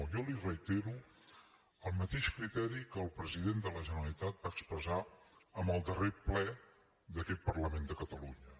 jo li reitero el mateix criteri que el president de la generalitat va expressar en el darrer ple d’aquest parlament de catalunya